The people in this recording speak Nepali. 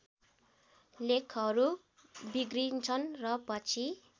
लेखहरू बिग्रिन्छन् र पछि